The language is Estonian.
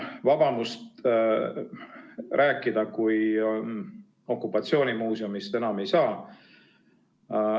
Vabamust kui okupatsioonimuuseumist rääkida enam ei saa.